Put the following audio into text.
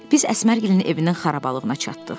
Biz Əsmərgilin evinin xarabalığına çatdıq.